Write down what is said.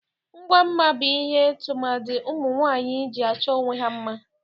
Ngwa mma bụ ihe tụmadị ụmụnwaanyị ji achọ onwe ha mma.